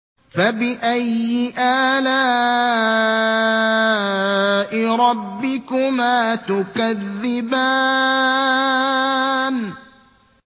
فَبِأَيِّ آلَاءِ رَبِّكُمَا تُكَذِّبَانِ